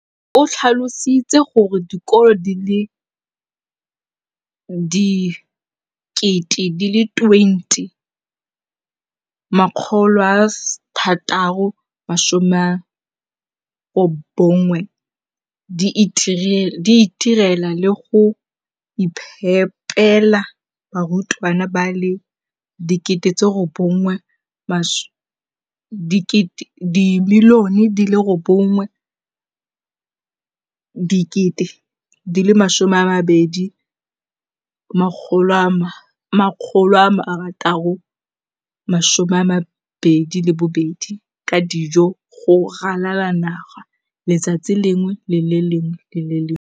o tlhalositse gore dikolo di le 20 619 di itirela le go iphepela barutwana ba le 9 032 622 ka dijo go ralala naga letsatsi le lengwe le le lengwe.